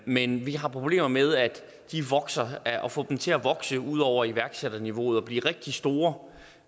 men vi har problemer med at få dem til at vokse ud over iværksætterniveauet og blive rigtig store